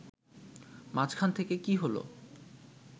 মাঝখান থেকে কী হল